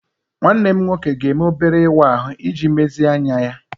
Nwanne m nwoke ga-eme obere ịwa ahụ iji mezie anya ya.